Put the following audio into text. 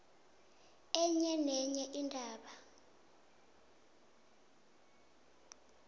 enye nenye indaba